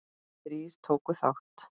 Þrír tóku þátt.